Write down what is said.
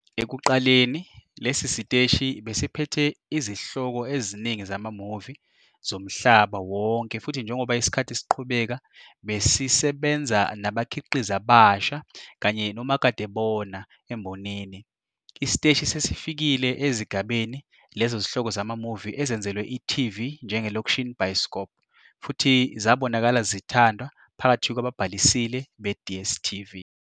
Ekuqaleni, lesi siteshi besiphethe izihloko eziningi zama-movie zomhlaba wonke futhi njengoba isikhathi siqhubeka besisebenza nabakhiqizi abasha abasha kanye nomakadebona embonini. Isiteshi sesifikile ezigabeni lezi zihloko zama-movie ezenzelwe i-TV njenge-'Lokshin Bioskop 'futhi zabonakala zithandwa phakathi kwababhalisile be-DStv.